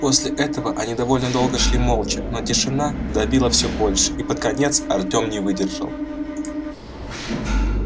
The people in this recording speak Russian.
после этого они довольно долго шли молча но тишина давила все больше и под конец артем не выдержал